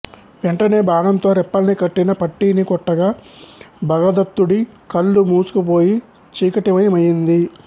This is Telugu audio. వెంటనే బాణంతో రెప్పల్ని కట్టిన పట్టీని కొట్టగా భగదత్తుడి కళ్ళు మూసుకుపోయి చీకటిమయమయింది